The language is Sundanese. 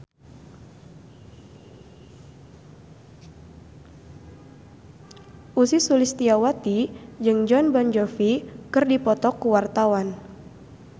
Ussy Sulistyawati jeung Jon Bon Jovi keur dipoto ku wartawan